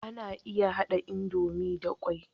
Ana iya hada idomie da kwai